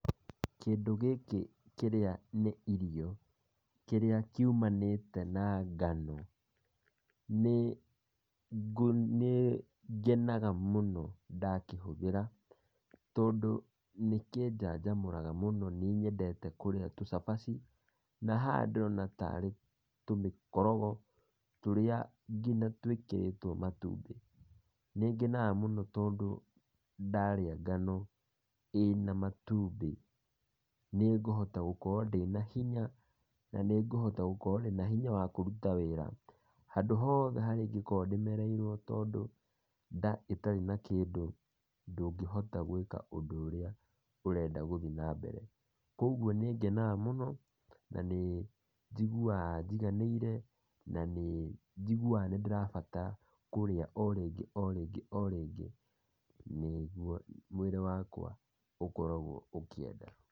Kĩndũ gĩkĩ kĩrĩa nĩ irio, kĩrĩa kiumanĩte na ngano, nĩ ngu ngenaga mũno ndakĩhũthĩra, tondũ nĩkĩnjanjamũraga mũno, nĩ nyendete kũrĩa tũcabaci , na haha ndĩrona tarĩ tũmĩkorogo tũrĩa nginya twĩkĩrĩtwo matumbĩ, nĩngenaga mũno tondũ ndarĩa ngano ĩna matumbĩ, nĩngũhota gũkorwo ndĩna hinya, na nĩngũkorwo ndĩna hinya wakũruta wĩra, handũ harĩa hothe ingĩkorwo nemereirwo tondũ nda ĩtarĩ na kĩndũ ndũngĩhota gwĩka ũndũ ũrĩa ũrathiĩ na mbere, koguo nĩ ngenaga mũno na njiguaga njiganĩire, na nĩ njiguaga kũrĩa o rĩngĩ o rĩngĩ o rĩngĩ, nĩguo mwĩrĩ wakwa ũkoragwo ũkienda.